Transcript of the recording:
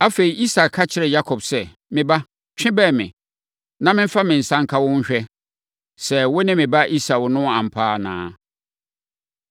Afei, Isak ka kyerɛɛ Yakob sɛ, “Me ba, twe bɛn me, na memfa me nsa nka wo nhwɛ sɛ, wo ne me ba Esau no ampa anaa.”